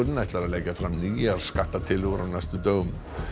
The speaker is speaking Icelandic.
ætlar að leggja fram nýjar skattatillögur á næstu dögum